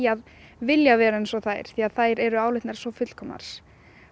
að vilja vera eins og þær því þær eru álitnar fullkomnar